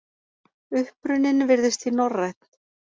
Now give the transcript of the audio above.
Uppruninn virðist því norrænn.